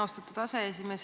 Austatud aseesimees!